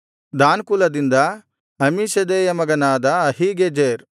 than ಕುಲದಿಂದ ಅಮ್ಮೀಷದ್ದೈಯ ಮಗನಾದ ಅಹೀಗೆಜೆರ್